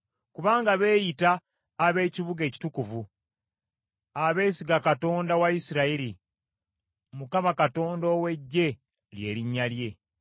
Kubanga beeyita ab’ekibuga ekitukuvu, abeesiga Katonda wa Isirayiri, Mukama Katonda ow’Eggye lye linnya lye.